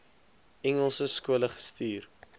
engelse skole gestuur